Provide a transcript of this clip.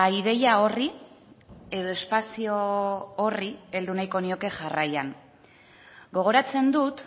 ideia horri edo espazio horri heldu nahiko nioke jarraian gogoratzen dut